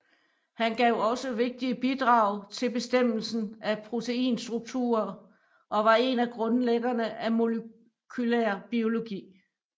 Han gav også vigtige bidrag til bestemmelsen af proteinstrukturer og var en af grundlæggerne af molekylær biologi